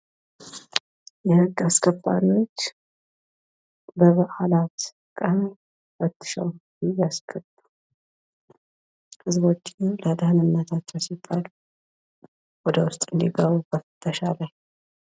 የህግ አስከባሪዎች በበዓላት ቀን ፈትሸው እያስገቡ። ህዝቦችን ለደህንነታቸው ሲባል ወደ ውስጥ እንዲገቡ በፍተሻ ላይ።